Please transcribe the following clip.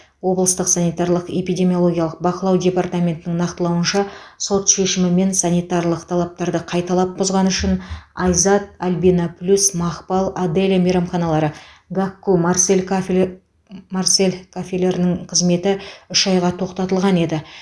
облыстық санитарлық эпидемиологиялық бақылау департаментінің нақтылауынша сот шешімімен санитарлық талаптарды қайталап бұзғаны үшін айзат альбинаплюс мақпал аделя мейрамханалары гакку марсель кафеле марсель кафелерінің қызметі үш айға тоқтатылған еді